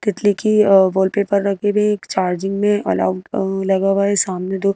तितली की वॉलपेपर लगे हुए है एक चार्जिंग में लगा हुआ है सामने दो--